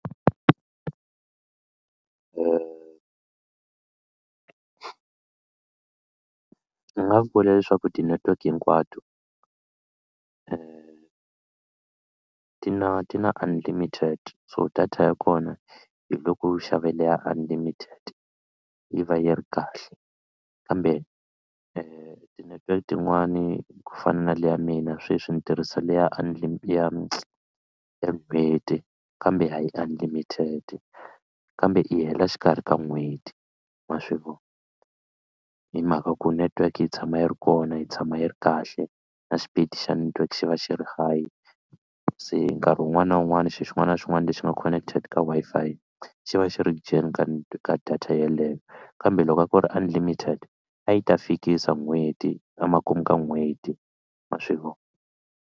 Ni nga vula leswaku ti-network hinkwato ti na ti na unlimited so data ya kona hi loko u xave leya unlimited yi va yi ri kahle kambe ti-network tin'wani ku fana na le ya mina sweswi ni tirhisa le ya ya n'hweti kambe a yi unlimited kambe i hela xikarhi ka n'hweti ma swi vona hi mhaka ku network yi tshama yi ri kona yi tshama yi ri kahle na xipidi xa network xi va xi ri high se nkarhi wun'wana na wun'wana xilo xin'wana na xin'wana lexi nga connected ka Wi-Fi xi va xi ri dyeni ka ka data yeleyo kambe loko a ku ri unlimited a yi ta fikisa n'hweti emakumu ka n'hweti ma swi vona.